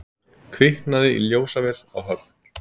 Kviknaði í ljósavél á Höfn